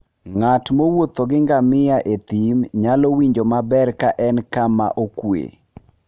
Ng'at mowuotho gi ngamia e thim nyalo winjo maber ka en kama okuwe.